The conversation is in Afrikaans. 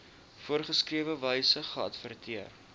voorgeskrewe wyse geadverteer